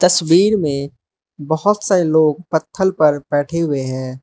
तस्वीर में बहोत सारे लोग पत्थल पर बैठे हुए हैं।